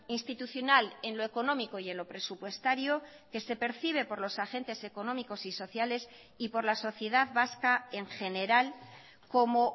institucional en lo económico y en lo presupuestario que se percibe por los agentes económicos y sociales y por la sociedad vasca en general como